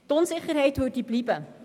Die Unsicherheit würde bleiben.